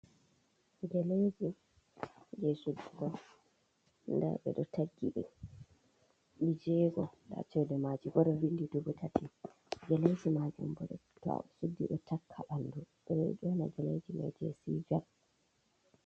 Galeji je soguon on nda ɓe ɗo tagi ɗe ɗi jego nda cede maji bo o vindi dubu tati geleji majun bo ɗo to a suddi ɗo takka ɓandu ɓeɗo yona geleji man be sijar.